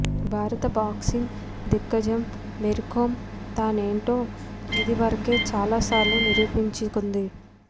భారత బాక్సింగ్ దిగ్గజం మేరీకోమ్ తానేంటో ఇది వరకే చాలాసార్లు నిరూపించుకుంది